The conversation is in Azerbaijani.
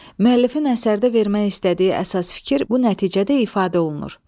Müəllifin əsərdə vermək istədiyi əsas fikir bu nəticədə ifadə olunur.